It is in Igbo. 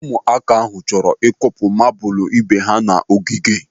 Ụmụaka ahụ chọrọ ịkụpụ mabụlụ ibe ha n'ogige.